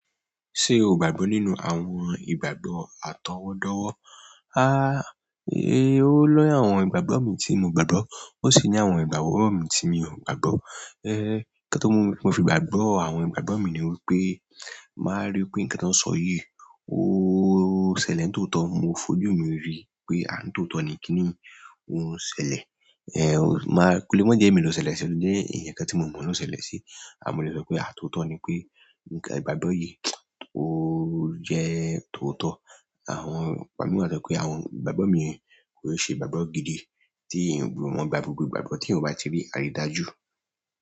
Ṣé o gbàgbọ́ nínú àwọn ìgbàgbọ́ àtọwọ́dọ́wọ́? O lóju àwọn ìgbàgbọ́ mi tí mo gbàgbọ́. Ó sì ní àwọn ìgbàgbọ́ mi tí mi ò gbàgbọ́. Nkan ti mo fi gbàgbọ́ àwọn ìgbàgbọ́ mi ni wípé, tin bàá rí pé ǹkán tó ń sọ yíì, o ṣẹlẹ̀ ni tóotọ́. Mo fojú mi rí pé ah! Ni tooto ni kíniyii oun ń ṣẹlẹ̀? O le ma je emi lo n ṣẹlẹ̀ si mo le so pe ah, tooto ni pe ìgbàgbọ́ yìí, o je tooto. Àwọn, igbami wa to je pé àwọn ìgbàgbọ́ mi yẹn kò i ṣe ìgbàgbọ́ gidi tí èèyàn ò gbudo mo gba gbogbo ìgbàgbọ́ tí èèyàn ò bá ti ri àrídájú.